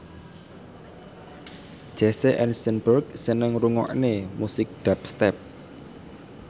Jesse Eisenberg seneng ngrungokne musik dubstep